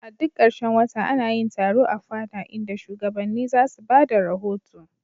A duk karshen wata ana yin taro a fada, inda shugabanni za su ba da rahoto.